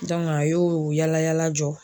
a y'o yalayala jɔ.